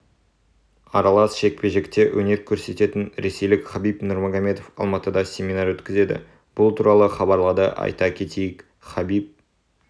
аралас жекпе-жекте өнер көрсететін ресейлік хабиб нурмагомедов алматыда семинар өткізеді бұл туралы хабарлады айта кетейік хабиб